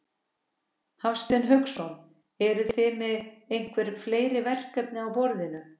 Hafsteinn Hauksson: Eruð þið með einhver fleiri verkefni á borðinu?